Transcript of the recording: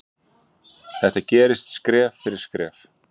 Þetta gerist skref fyrir skref.